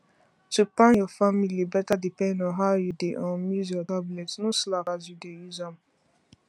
to plan your family better depend on how you dey um use your tablet no slack as you dey use am